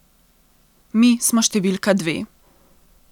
Mi smo številka dve.